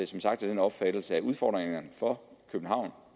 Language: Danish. som sagt af den opfattelse at udfordringerne for københavn